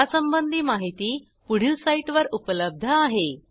यासंबंधी माहिती पुढील साईटवर उपलब्ध आहे